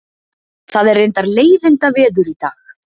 Það er reyndar leiðindaveður í dag